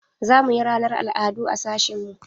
Za mu yi ranar al'adu a sashin mu.